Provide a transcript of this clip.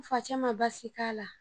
N facɛ ma baasi k'a la